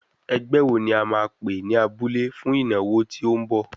Ẹgbẹ́ wo ni a máa pè ní abúlé fún ìnáwó tí ó ń bọ̀?